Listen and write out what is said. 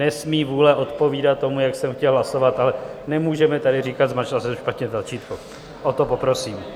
Nesmí vůle odpovídat tomu, jak jsem chtěl hlasovat, ale nemůžeme tady říkat "zmáčkla jsem špatně tlačítko", o to poprosím.